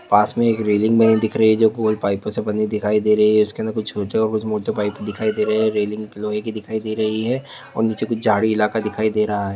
पास मैं एक रेलिंग बनी दिख रही है जो गोल पाईपों से बनी दिखाई दे रही है उसके अंदर कुछ छोटे और कुछ मोटे पाईप दिखाई दी रही हैं रेलिंग लोहे की दिखाई दे रही है और नीचे कुछ झाड़ी इलाका दिखाई दी रहा है।